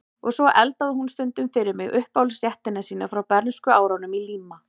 Og svo eldaði hún stundum fyrir mig uppáhaldsréttina sína frá bernskuárunum í Líma